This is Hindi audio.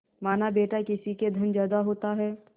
मानाबेटा किसी के धन ज्यादा होता है